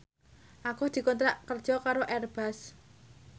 Agus dikontrak kerja karo Airbus